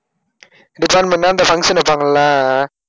department னா இந்த function வைப்பாங்கல